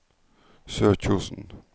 Sørkjosen